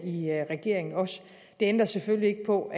i regeringen også det ændrer selvfølgelig ikke på